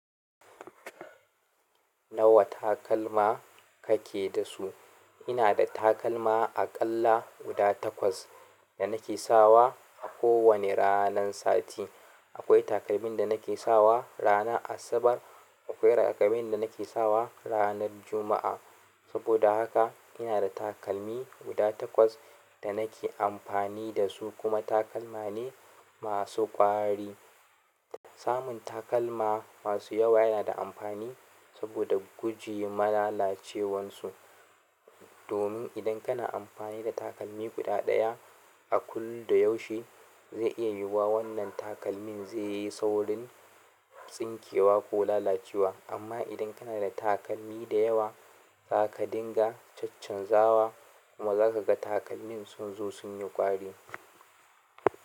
Nawa takalma kake da su? Ina da takalma aƙalla guda takwas da nake sawa a kowane ranan sati. Akwai takalmin da nake sawa rana Asabar. Akwai takalmin da nake sawa ranan Juma'a. Saboda haka ina da takalmi guda takwas da nake amfani da su, kuma takalma ne masu ƙwari. Samun takalma masu yawa yana da amfani saboda guje malalacewansu. Domin idan kana amfani da takalmi guda ɗaya a kullum da yaushe, zai iya yiwuwa wannan takalmin zai yi saurin tsinkewa ko lalacewa. Amma idan kana da takalmi da yawa, za ka dinga caccanzawa kuma zakaga takalmin sunzo sunyi ƙwari.